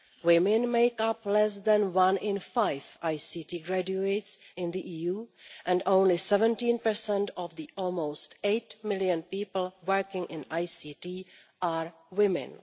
Women make up less than one in five ICT graduates in the EU and only 17 of the almost eight million people working in ICT are women.